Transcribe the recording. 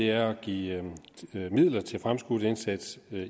er at give midler til fremskudt indsats